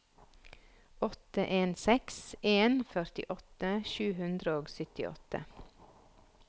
åtte en seks en førtiåtte sju hundre og syttiåtte